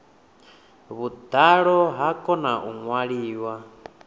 vhuḓalo ha kona u ṅwaliwa